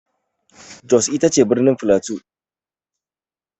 Jos ita ce birnin flato.